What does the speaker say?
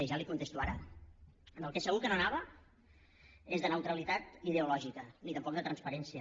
ja li ho contesto ara del que segur que no anava és de neutralitat ideològica ni tampoc de transparència